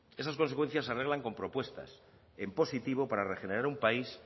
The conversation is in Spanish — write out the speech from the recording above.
esas consecuencias se arreglan con propuestas en positivo para regenerar un país